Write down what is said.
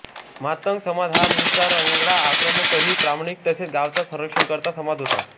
मातंग समाज हा मुळचा रांगडा आक्रमक तरीही प्रामाणिक तसेच गावचा संरक्षणकर्ता समाज होता